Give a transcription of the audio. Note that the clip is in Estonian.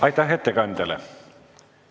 Aitäh ettekandjale!